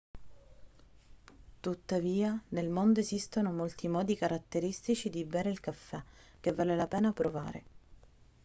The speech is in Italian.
tuttavia nel mondo esistono molti modi caratteristici di bere il caffè che vale la pena provare